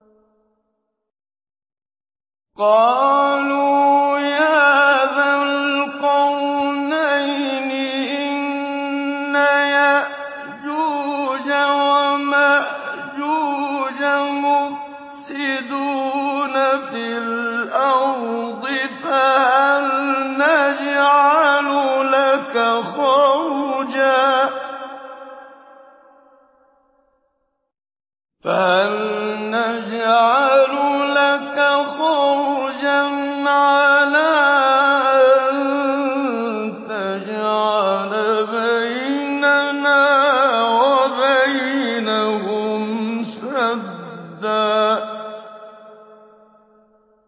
قَالُوا يَا ذَا الْقَرْنَيْنِ إِنَّ يَأْجُوجَ وَمَأْجُوجَ مُفْسِدُونَ فِي الْأَرْضِ فَهَلْ نَجْعَلُ لَكَ خَرْجًا عَلَىٰ أَن تَجْعَلَ بَيْنَنَا وَبَيْنَهُمْ سَدًّا